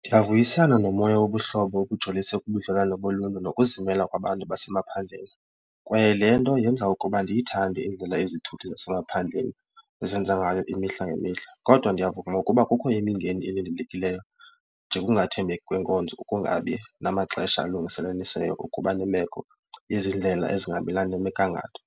Ndiyavuyisana nomoya wobuhlobo obujoliswe kubudlelwane boluntu nokuzimela kwabantu basemaphandleni kwaye le nto yenza ukuba ndiyithande indlela ezithuthi zasemaphandleni ezenza ngayo imihla ngemihla. Kodwa ndiyavuma ukuba kukho imingeni elindelekileyo nje kungathembeki kwenkonzo ukungabi namaxesha alungiseliseyo ukuba nibekho, izindlela ezingahambiselani nemigangatho